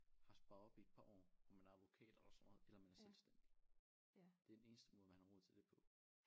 Har sparet op i et par år og man er advokat eller sådan noget eller man er selvstændig det er den eneste måde man har råd til det på